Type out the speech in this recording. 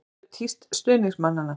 Hér má sjá tíst stuðningsmannanna.